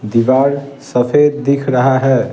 दीवार सफेद दिख रहा है ।